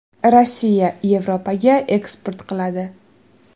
Rossiya, Yevropaga eksport qiladi.